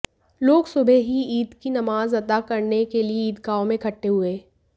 लोग सुबह ही ईद की नमाज अता करने के लिए ईदगाहों में इकट्ठे हुए